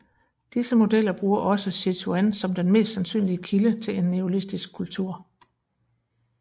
Disse modeller bruger også Sichuan som den mest sandsynlige kilde til en neolitisk kultur